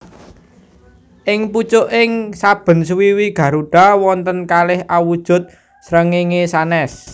Ing pucuking saben swiwi garuda wonten kalih awujud srengéngé sanès